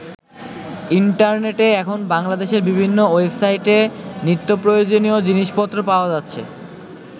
ইন্টারনেটে এখন বাংলাদেশের বিভিন্ন ওয়েবসাইটে নিত্যপ্রয়োজনীয় জিনিসপত্র পাওয়া যাচ্ছে।